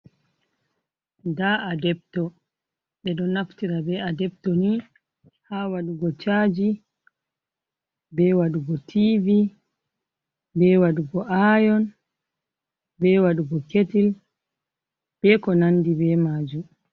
Nda adebto! be ɗon naftira be adebto ni ha waɗugo chaji, be waɗugo tivi, be waɗugo ayon, be waɗugo ketil, be ko nandi be majum.